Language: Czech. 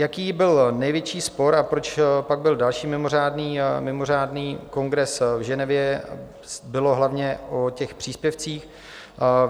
Jaký byl největší spor a proč pak byl další mimořádný kongres v Ženevě, bylo hlavně o těch příspěvcích.